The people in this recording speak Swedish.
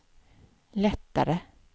lättare